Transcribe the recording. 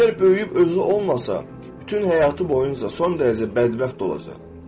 Əgər böyüyüb özü olmasa, bütün həyatı boyunca son dərəcə bədbəxt olacaq.